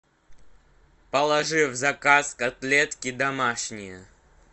положи в заказ котлетки домашние